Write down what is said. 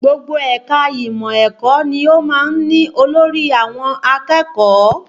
Gbogbo ẹ̀ka ìmọ̀ ẹ̀kọ́ ni ó máa ń ní olórí àwọn akẹ́kọ̀ọ́